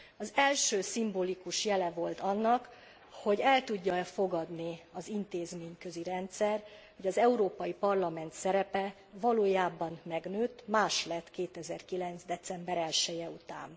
Az első szimbolikus jele volt annak, hogy el tudja e fogadni az intézményközi rendszer, hogy az Európai Parlament szerepe valójában megnőtt, más lett 2009. december 1 je után.